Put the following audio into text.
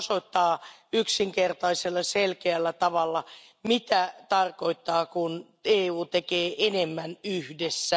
Tämä osoittaa yksinkertaisella selkeällä tavalla, mitä tarkoittaa, kun EU tekee enemmän yhdessä.